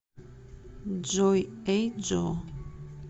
джой эй джо